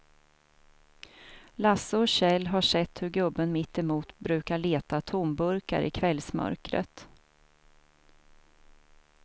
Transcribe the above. Lasse och Kjell har sett hur gubben mittemot brukar leta tomburkar i kvällsmörkret.